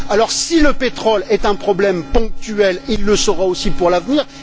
Alors, si le pétrole est un problème ponctuel, il le sera aussi pour l'avenir.